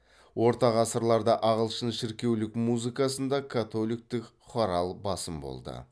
орта ғасырларда ағылшын шіркеулік музыкасында католиктік хорал басым болды